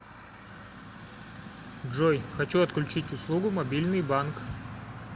джой хочу отключить услугу мобильный банк